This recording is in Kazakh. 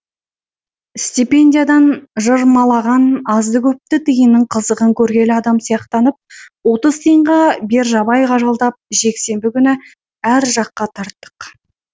стипендиядан жырмалаған азды көпті тиынның қызығын көргелі адам сияқтанып отыз тиынға бержабайға жалдап жексенбі күні әр жаққа тарттық